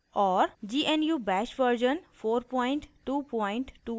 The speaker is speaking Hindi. * gnu bash version 4224